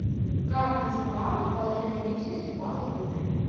как называют положение личности в малой группе